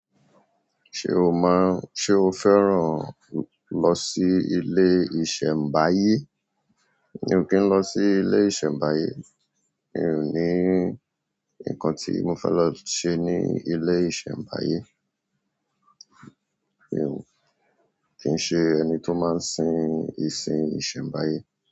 Ṣé o máa ń, ṣe o fẹ́ràn lọ sí ilé ìṣẹ̀mbáyé? Mi ò kí ń lọ sí ilé ìṣẹ̀mbáyé. Mi ò ní ńkan tí mo fẹ́ lọ ṣe ní ilé ìṣẹ̀mbáyé. Mi ò kín ṣe ẹni tó má ń sìn ìsin iṣẹmbaye.